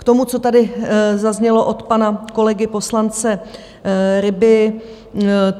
K tomu, co tady zaznělo od pana kolegy poslance Ryby.